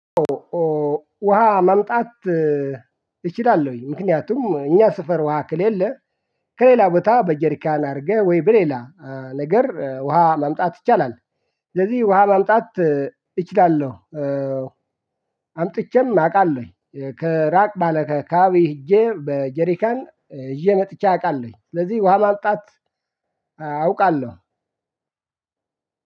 ውሃ መምጣት። እችላለሁኝ ምክንያቱም እኛ ስፈር ውሃ ከሌለ ከሌላ ቦታ በጀሪካን አድርገህ ወይ በሌላ ነገር ውሃ ማምጣት ይቻላል። ስለዚህ ውሃ ማምጣት እችላለሁ። አምጥቼም አውቃለሁኝ ከራቅ ባለ አከባቢዊ ሄጄ በጀሪካን ሄዤ መጥቼ አውቃለሁኝ ስለዚህ ውሃ ማምጣት አውቃለሁ።